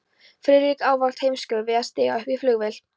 Friðrik ávallt hálfsmeykur við að stíga upp í flugvél.